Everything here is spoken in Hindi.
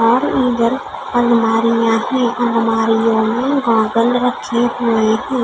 और इधर अलमारियाँ हैं अलमारियों मे गौगल रखी हुई है।